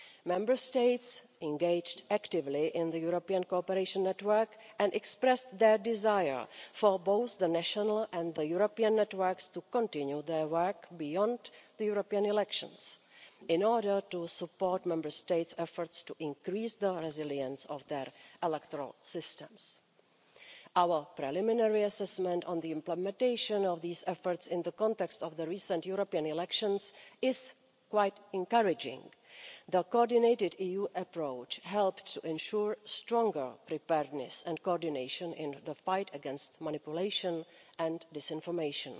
Member States engaged actively in the European cooperation network and expressed their desire for both the national and the European networks to continue their work beyond the European elections in order to support Member States' efforts to increase the resilience of their electoral systems. Our preliminary assessment on the implementation of these efforts in the context of the recent European elections is quite encouraging. The coordinated EU approach helped to ensure stronger preparedness and coordination in the fight against manipulation and disinformation.